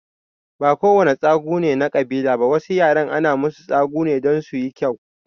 Ba ko wane tsagu ne na kabila ba, wasu yaran ana musu tsagu ne don suyi kyau.